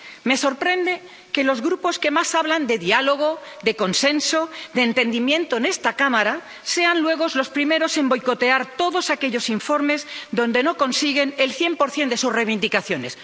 Me sorprende que los grupos que más hablan de diálogo, de consenso, de entendimiento en esta Cámara sean luego los primeros en boicotear todos aquellos informes donde no consiguen el 100 de sus reivindicaciones.